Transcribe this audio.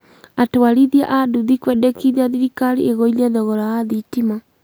Atwarithia a ndũthi kwendekithia thirikari ĩgũithie thogora wa thitima